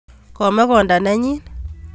Ome konda nenyin